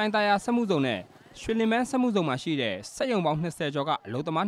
ိုင်သာယာစက်မှုဇုန်နဲ့ ရွှေလင်ဗန်းစက်မှုဇုန်မှာရှိတဲ့ စက်ရုံပေါင်း ၂၀ ကျော်က အလုပ်သမား